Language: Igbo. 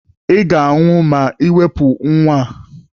Ị ga-anwụ ma Ị wepụ nwa a!